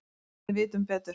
Við vitum betur